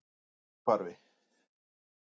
Ögurhvarfi